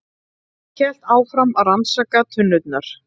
Hélt áfram að rannsaka tunnurnar.